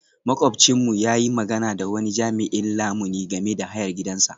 Makwabcinmu ya yi magana da wani jami'in lamuni game da hayar gidansa.